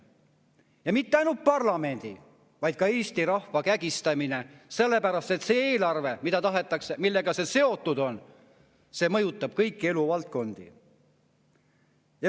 Ja mitte ainult parlamendi, vaid ka Eesti rahva kägistamine, sest see eelarve, millega see kõik seotud on, mõjutab kõiki eluvaldkondi.